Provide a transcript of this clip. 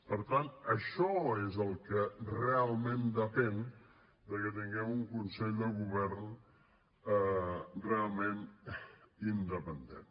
per tant d’això és del que realment depèn de que tinguem un consell de govern realment independent